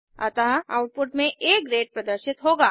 अतः आउटपुट में आ ग्रेड प्रदर्शित होगा